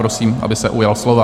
Prosím, aby se ujal slova.